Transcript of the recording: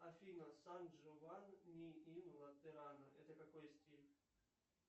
афина сан джованни ин латерано это какой стиль